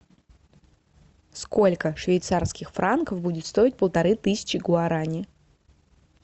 сколько швейцарских франков будет стоить полторы тысячи гуарани